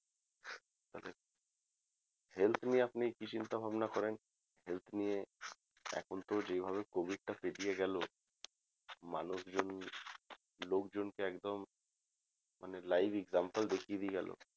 health নিয়ে আপনি কি চিন্তা ভাবনা করেন health নিয়ে এখন তো যেইভাবে covid টা পেরিয়ে গেলো মানুষজন লোকজনকে একদম মানে live example দেখিয়ে দিয়ে গেলো